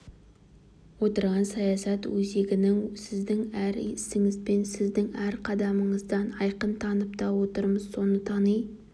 отырған саясат өзегінен сіздің әр ісіңізден сіздің әр қадамыңыздан айқын танып та отырмыз соны тани